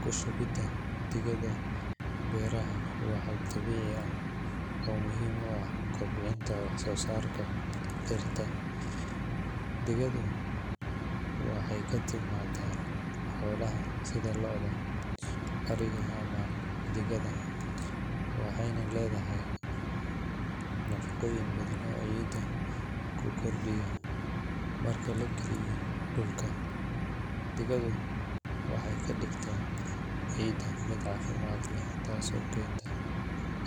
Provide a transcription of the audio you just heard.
Ku shubidda digada beeraha waa hab dabiici ah oo muhiim u ah kobcinta wax-soo-saarka dhirta. Digadu waxay ka timaadaa xoolaha sida lo’da, ariga, ama digaagga, waxayna leedahay nafaqooyin badan oo ciidda ku kordhiya. Marka la geliyo dhulka, digadu waxay ka dhigtaa ciidda mid caafimaad leh, taas oo keenta